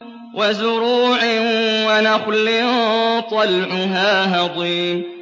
وَزُرُوعٍ وَنَخْلٍ طَلْعُهَا هَضِيمٌ